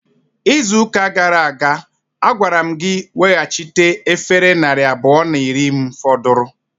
Izuụka gara aga, agwara m gị ị weghachite efere narị abụọ na iri m fọdụrụ!